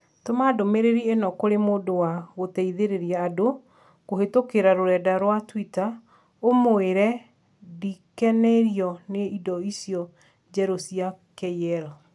Tũma ndũmĩrĩri ĩno kũrĩ mũndũ wa gũteithĩrĩria andũ kũhĩtũkĩra rũrenda rũa tũita ũmũĩre ndĩkenirio nĩ indo ici njerũ cia k.l.